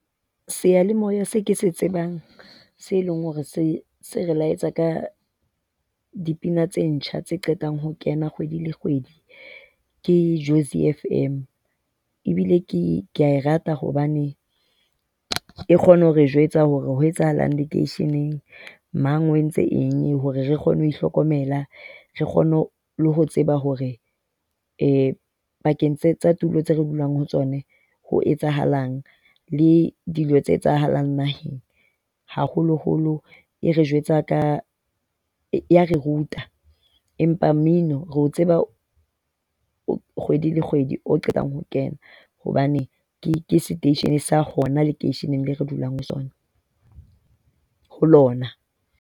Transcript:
Sealemoya se ke se tsebang se leng hore se se re laetsa ka dipina tse ntjha tse qetang ho kena kgwedi le kgwedi ke Jozi FM. Ebile ke ke a e rata hobane e kgona ho re jwetsa hore ho etsahalang lekeisheneng. Mang o entse eng hore re kgone ho itlhokomela, re kgone le ho tseba hore e pakeng tsa tulo tse re dulang ho tsona ho etsahalang le dilo tse etsahalang naheng. Haholoholo e re jwetsa ka, e a re ruta. Empa mmino re o tseba kgwedi le kgwedi o qetang ho kena hobane ke seteishene sa hona lekeisheneng leo re dulang ho sona, ho lona.